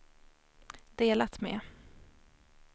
delat med